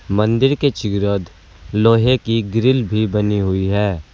मंदिर के चीरता लोहे की ग्रिल भी बनी हुई है।